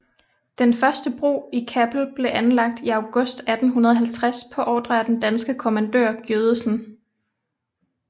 Den første bro i Kappel blev anlagt i august 1850 på ordre af den danske kommandør Giødesen